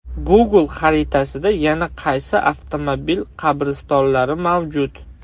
Google xaritasida yana qaysi avtomobil qabristonlari mavjud?